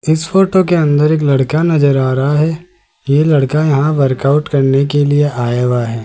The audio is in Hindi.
जिस फोटो के अंदर एक लड़का नजर आ रहा है ये लड़का यहां वर्कआउट करने के लिए आया हुआ है।